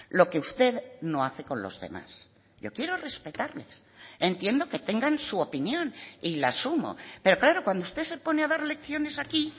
lo que usted no hace con los demás yo quiero respetarles entiendo que tengan su opinión y la asumo pero claro cuando usted se pone a dar lecciones aquí